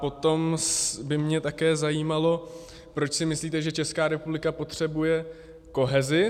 Potom by mě také zajímalo, proč si myslíte, že Česká republika potřebuje kohezi.